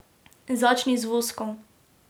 Začni z voskom.